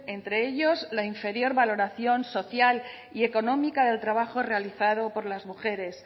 entre ellos la inferior valoración social y económica del trabajo realizado por las mujeres